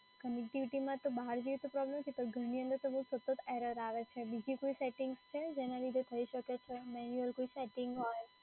connectivity તો બહાર જઈએ તો પ્રોબ્લેમ નથી પણ ઘરની તો બઉ સતત એરર આવે છે. બીજી કોઈ સેટિંગ્સ છે જેના લીધે થઈ શકે છે? મન્યુઅલ કોઈ સેટ્ટિંગ હોય.